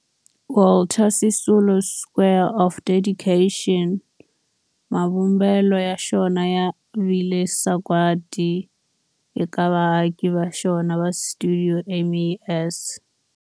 Walter Sisulu Square of Dedication, mavumbelo ya xona ya vile sagwadi eka vaaki va xona va stuidio MAS.